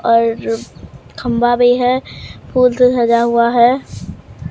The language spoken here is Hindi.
और खंभा भी है फूल से सजा हुआ है।